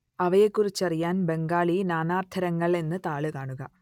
അവയെക്കുറിച്ചറിയാൻ ബംഗാളി നാനാർത്ഥങ്ങൾ എന്ന താൾ കാണുക